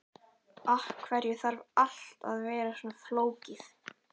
Af hverju þarf allt að vera svona flókið?